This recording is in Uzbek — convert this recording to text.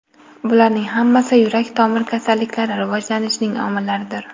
Bularning hammasi yurak-tomir kasalliklari rivojlanishining omillaridir.